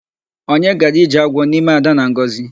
Onye gara ije agwọ n'ime Ada na Ngọzi?